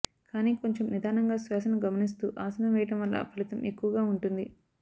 కానీ కొంచెం నిదానంగా శ్వాసను గమనిస్తూ ఆసనం వేయడం వల్ల ఫలితం ఎక్కువగా ఉంటుంది